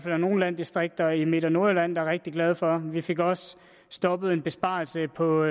er nogle landdistrikter i midt og nordjylland der er rigtig glade for vi fik også stoppet en besparelse på